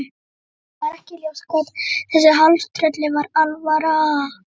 Honum var ekki ljóst hvort þessu hálftrölli var alvara.